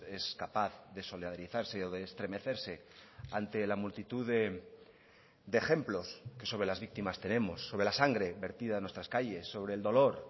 es capaz de solidarizarse o de estremecerse ante la multitud de ejemplos que sobre las víctimas tenemos sobre la sangre vertida en nuestras calles sobre el dolor